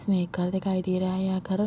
इसमे एक घर दिखाई दे रहा है यह घर --